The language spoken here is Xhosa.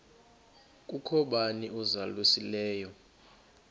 kukho bani uzalusileyo